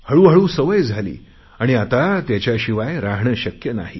हळूहळू सवय झाली आता त्याच्याशिवाय राहणे शक्य नाही